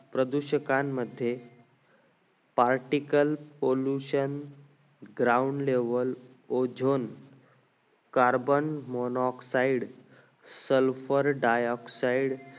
प्रदूषकांमध्ये particle pollution ground level ozone carbon monoxide